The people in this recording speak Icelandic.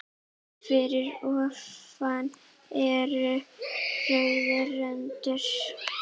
Fyrir ofan er rauð rönd.